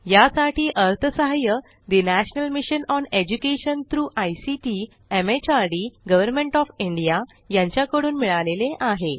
यासाठी अर्थसहाय्य national mission on education through ICT MHRD government of India यांच्याकडून मिळालेले आहे